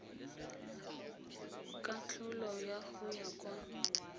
katlholo ya go ya kwa